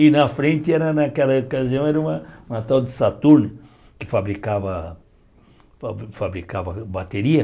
E na frente, era naquela ocasião, era uma uma tal de Saturno, que fabricava fa fabricava bateria.